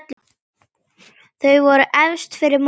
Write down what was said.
Þau voru efst fyrir mótið.